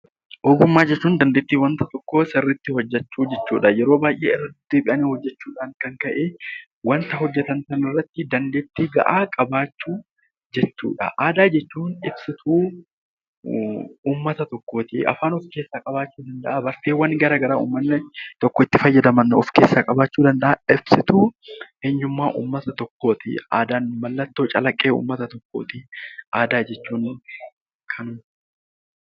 Ogummaa jechuun dandeettii waan tokko sirriitti hojjechuu jechuudha. Yeroo baayyee hojjechuu irraan kan ka'e waanta hojjetamu irratti dandeettii gahaa qabaachuu jechuudha. Aadaa jechuun ibsituu uummata tokkooti afaan of keessaa qabaachuu danda'aa, bakkeewwan garaagaraa uummanni argachuu danda'an ibsituu eenyummaa uummata tokkooti. Aadaan mallattoo calaqqee aadaa jechuun kan